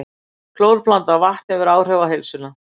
Klórblandað vatn hefur áhrif á heilsuna